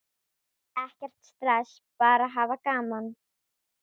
Ekkert stress, bara hafa gaman!